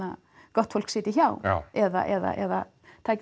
gott fólk sitji hjá eða